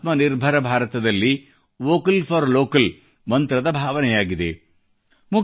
ಇದೇ ಆತ್ಮನಿರ್ಭರ ಭಾರತದಲ್ಲಿ ವೋಕಲ್ ಫಾರ್ ಲೋಕಲ್ ಮಂತ್ರದ ಭಾವನೆಯಾಗಿದೆ